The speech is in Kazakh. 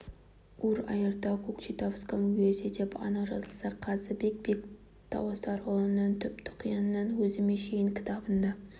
ур аиртау кокчетавском уезде деп анық жазылса қазыбек бек тауасарұлының түп-тұқияннан өзіме шейін кітабында да